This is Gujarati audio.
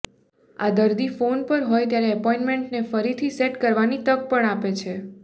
આ દર્દી ફોન પર હોય ત્યારે એપોઇન્ટમેન્ટને ફરીથી સેટ કરવાની તક પણ આપે છે